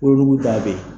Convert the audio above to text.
Wolonugu ta be yen